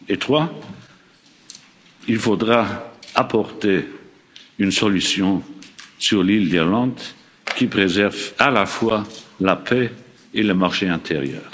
membre. Troisièmement, il faudra apporter une solution sur l'île d'Irlande, qui préserve à la fois la paix et le marché intérieur.